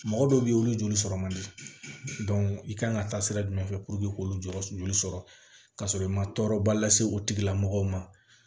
Mɔgɔ dɔw bɛ yen olu joli sɔrɔ man di i kan ka taa sira jumɛn fɛ k'olu jɔ sɔrɔ ka sɔrɔ i ma tɔɔrɔba lase o tigilamɔgɔw ma